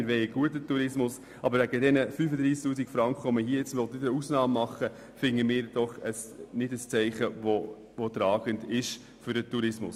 Wir wollen einen guten Tourismus, aber wegen dieser 35 000 Franken eine Ausnahme zu machen, erachten wir nicht als tragendes Zeichen für den Tourismus.